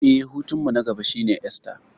Eh, hutunmu na gaba shine Esta.